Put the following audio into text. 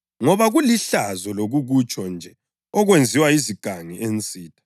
Ngoba kulihlazo lokukutsho nje okwenziwa yizigangi ensitha.